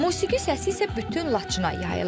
Musiqi səsi isə bütün Laçına yayılıb.